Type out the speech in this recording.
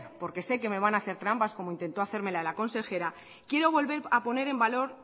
porque sé que me van a hacer trampas como intentó hacérmelas la consejera quiero volver a poner en valor